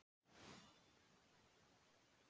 Kúla þaut hjá með hvin.